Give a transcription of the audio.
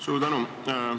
Suur tänu!